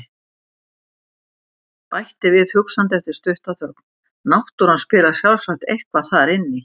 Bætti við hugsandi eftir stutta þögn: Náttúran spilar sjálfsagt eitthvað þar inn í.